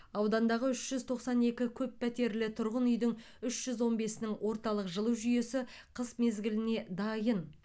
аудандағы үш жүз тоқсан екі көп пәтерлі тұрғын үйдің үш жүз он бесінің орталық жылу жүйесі қыс мезгіліне дайын